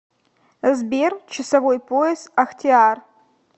сбер часовой пояс ахтиар